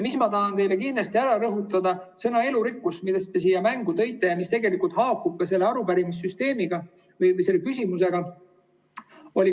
Ma tahan teile kindlasti rõhutada sõna "elurikkus", mille te mängu tõite ja mis haakub ka selle arupärimise küsimusega.